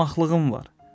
Qonaqlığın var.